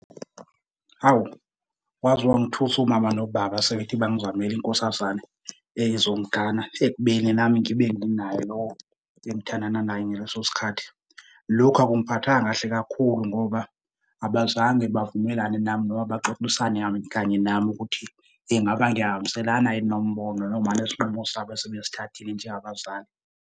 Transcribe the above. Awu, waze wangithusa umama nobaba sebethi bangizamele inkosazane ezongigana ekubeni nami ngibe nayo lo engithandana naye ngaleso sikhathi. Lokhu akungiphathanga kahle kakhulu ngoba abazange bavumelane nami noma baxoxisane kanye nami ukuthi ingaba ngiyahambiselana yini nombono noma nesinqumo sabo asebesithathile njengabazali.